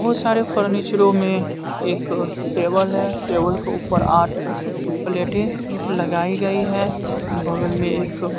बहुत सारे फर्नीचरों में एक टेबल है टेबल के ऊपर आठ प्लेटें लगाई गई है बगल में एक--